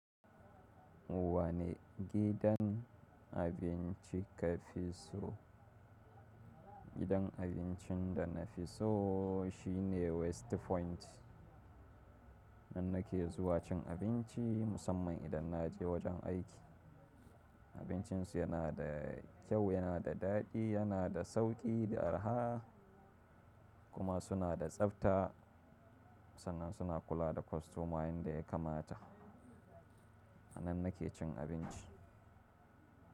Wani gidan abinci ka fi so? Gidan abincin da na fi so shine West Point. Nan nake zuwa cin abinci musamman idan na je wajen aiki. Abincin su yana da kyau, yana da daɗi, yana da sauƙi da arha kuma suna da tsafta sannan suna kula da kostoma yanda ya kamata. A nan nake cin abinci.